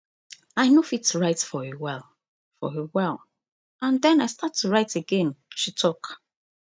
i no fit write for a for a while and den i start to write again she tok